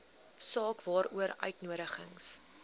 saak waaroor uitnodigings